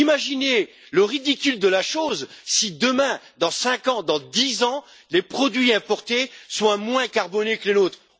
Imaginez le ridicule de la chose si demain, dans cinq ans, dans dix ans, les produits importés sont moins carbonés que les nôtres.